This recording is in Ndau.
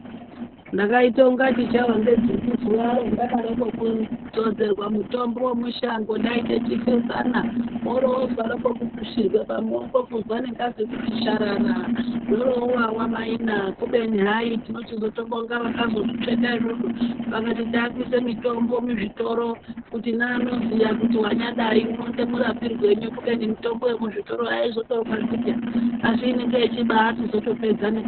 Ndakaita kunge ndichawa nedzungu zuva iroo randakade kudzodzerwa mutombo wemushangi uko ndaita chifesana wori wonzwa wode kukushirwe pamuoko kunzwa engazi kuti zharara zvorowawa mai naa kubeni hayi tinochizotobonga vakazvitsveta izvozvzo vakati takuise mitombo muzvitoro kuti ne anoziva kuti wanya dai unodemburapi ngwenyu kubeni mitombo yemuviri haizotorwadzi peya asi inenge yeyichizoto baitopedza ne..